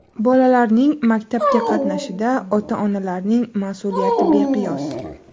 Bolalarning maktabga qatnashida ota-onalarning mas’uliyati beqiyos.